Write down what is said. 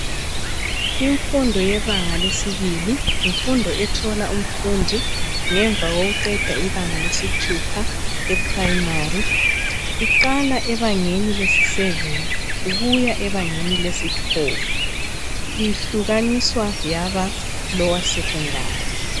Imfundo yebanga lesibili. Yimfundo ethola umfundi ngemva kokuba eqeda ibanga lesithupha eprimary. Iqala ebangeni lesiseveni ukuya abangeni lesithupha. Ihlukaniswa ngeyaba lower secondary.